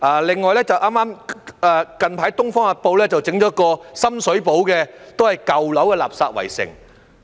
另外，最近《東方日報》報道了一個深水埗舊樓的垃圾圍城。